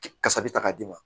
Kasa bɛ ta k'a d'i ma